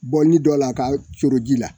Bɔ ni dɔ la k'a coro ji la